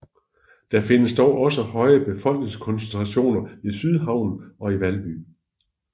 Der findes dog også høje befolkningskoncentration i Sydhavnen og i Valby